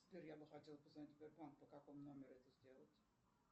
сбер я бы хотел позвонить в сбербанк по какому номеру это сделать